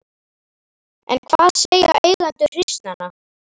En hvað segja eigendur hryssnanna?